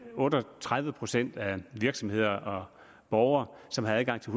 otte og tredive procent af virksomheder og borgere som har adgang til